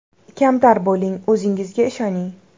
Kamtar bo‘ling, o‘zingizga ishoning.